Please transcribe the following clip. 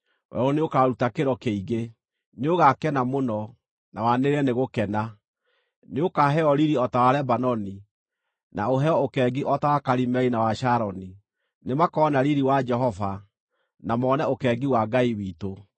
werũ nĩũkaruta kĩro kĩingĩ; nĩũgakena mũno, na wanĩrĩre nĩ gũkena. Nĩũkaheo riiri o ta wa Lebanoni, na ũheo ũkengi o ta wa Karimeli, na wa Sharoni; nĩmakona riiri wa Jehova, na mone ũkengi wa Ngai witũ.